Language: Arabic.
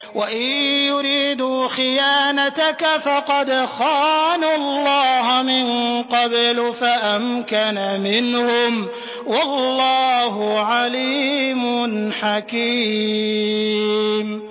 وَإِن يُرِيدُوا خِيَانَتَكَ فَقَدْ خَانُوا اللَّهَ مِن قَبْلُ فَأَمْكَنَ مِنْهُمْ ۗ وَاللَّهُ عَلِيمٌ حَكِيمٌ